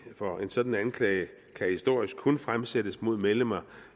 for en sådan anklage kan historisk kun fremsættes mod medlemmer